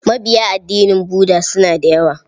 Mabiya addinin Budda suna da yawa.